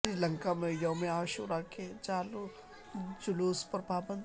سری لنکا میں یوم عاشورہ کے جلوس پر پابندی